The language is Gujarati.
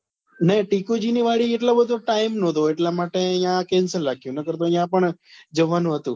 નહિ ટીકુ જી ની વાડી એટલો બધો time નતો એટલા માટે અહિયાં cancel રાખ્યું નકર તો યા પણ જવાનું હતું